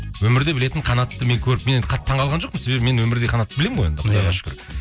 өмірде білетін қанатты мен көріп мен енді қатты таңғалған жоқпын себебі мен енді өмірдегі қанатты білмемін ғой енді құдайға шүкір